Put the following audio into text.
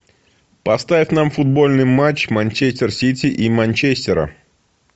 поставь нам футбольный матч манчестер сити и манчестера